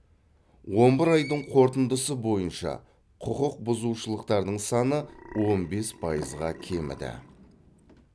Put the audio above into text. он бір айдың қорытындысы бойынша құқық бұзушылықтардың саны он бес пайызға кеміді